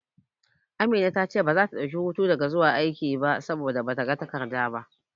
Amina ta ce ita baza ta dauki hutu daga zuwa aiki ba, saboda bata ga takarda ba.